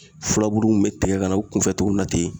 Furabuluw bɛ tigɛ ka na u kunfɛ togo min na ten